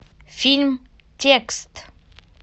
фильм текст